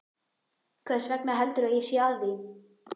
Hversvegna heldurðu að ég sé að því?